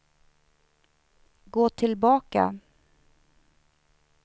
gå tillbaka